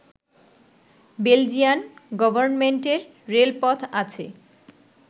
Belgian গভর্ণমেন্টের রেলপথ আছে